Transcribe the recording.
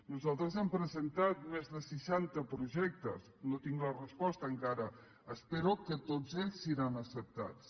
nosaltres hem presentat més de seixanta projectes no tinc la resposta encara espero que tots ells seran acceptats